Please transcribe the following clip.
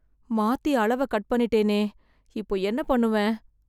மாத்தி அளவ கட் பண்ணிட்டேனே இப்போ என்ன பண்ணுவேன்